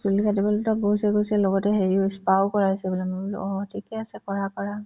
চুলি কাটিবলেতো গৈছে গৈছে লগতে হেৰিও হৈছে spa ও কৰাইছে বোলে মই বোলো অ ঠিকে আছে কৰা কৰা